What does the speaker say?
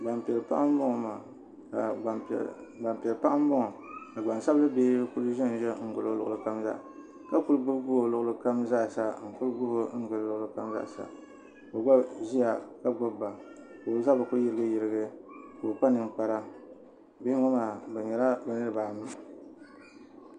Gbampiɛl' paɣa m-bɔŋɔ ka ɡbansabilibihi kuli ʒe n-ʒe n-ɡili o luɣili kam zaa ka kuli ɡbubi ɡbubi o luɣili kam zaa sa n-kuli ɡbubi o luɣili kam zaa sa ka o ɡba ʒia ka ɡbubi ba ka o zabiri kuli yiriɡiyiriɡi ka o kpa niŋkpara bihi ŋɔ maa bɛ nyɛla bɛ niriba anu